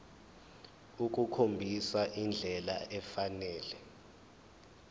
ukukhombisa indlela efanele